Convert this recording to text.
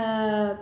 ஆஹ்